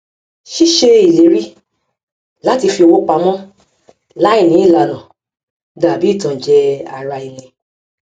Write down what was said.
ṣíṣe ìléri láti fi owó pamọ láì ní ìlànà dàbí ìtanjẹ ara ẹni